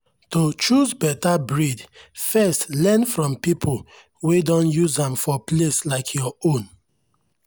to choose better breed first learn from people wey don use am for place like your own.